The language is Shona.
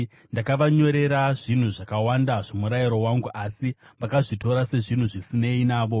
Ndakavanyorera zvinhu zvakawanda zvomurayiro wangu, asi vakazvitora sezvinhu zvisinei navo.